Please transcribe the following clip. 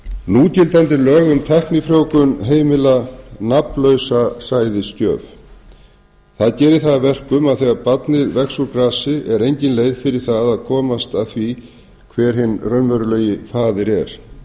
núgildandi lög um tæknifrjóvgun heimila nafnlausa sæðisgjöf það gerir það að verkum að þegar barnið vex úr grasi er engin leið fyrir það að komast að því hver hinn raunverulegi faðir er